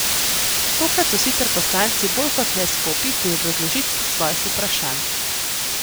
Tokrat so sicer poslanci bolj kot ne skopi pri obrazložitvi svojih vprašanj.